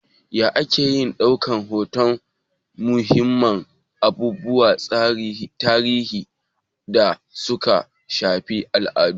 Ya ake iya ɗaukan hoton muhimman abubuwan tarihi da suka shafi al'adu?